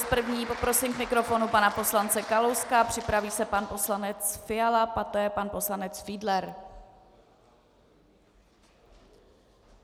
S první poprosím k mikrofonu pana poslance Kalouska, připraví se pan poslanec Fiala, poté pan poslanec Fiedler.